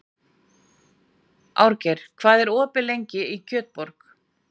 Árgeir, hvað er opið lengi í Kjötborg?